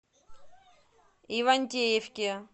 ивантеевке